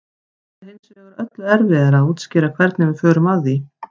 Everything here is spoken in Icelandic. það er hins vegar öllu erfiðara að útskýra hvernig við förum að því